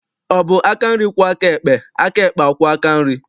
Ọ bụ aka nri kwọọ aka ekpe, aka ekpe akwọọ aka nri?